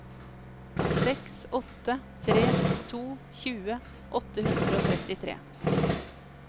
seks åtte tre to tjue åtte hundre og trettitre